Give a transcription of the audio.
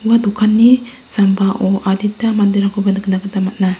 ua dokanni sambao adita manderangkoba nikna gita man·a.